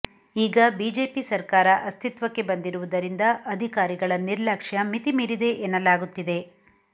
ಈಗ ಬಿಜೆಪಿ ಸರ್ಕಾರ ಅಸ್ತಿತ್ವಕ್ಕೆ ಬಂದಿರುವುದರಿಂದ ಅಧಿಕಾರಿಗಳ ನಿರ್ಲಕ್ಷ್ಯ ಮಿತಿ ಮೀರಿದೆ ಎನ್ನಲಾಗುತ್ತಿದೆ